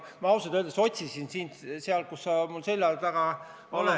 Ma ausalt öeldes otsisin sind sealt, kus sa tavaliselt mul selja taga oled ...